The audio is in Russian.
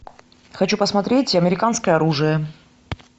хочу посмотреть американское оружие